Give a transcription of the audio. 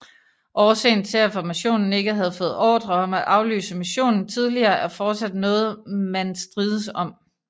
Årsagen til at formationen ikke havde fået ordre om at aflyse missionen tidligere er fortsat noget man strides om